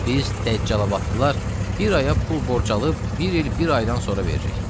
Biz Dəccalabadlılar bir aya pul borc alıb bir il bir aydan sonra veririk.